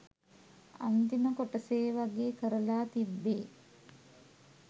අන්තිම කොටසේවගේ කරලා තිබ්බේ.